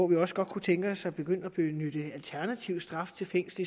vi også godt kunne tænke os at begyndte at benytte en alternativ straf til fængsel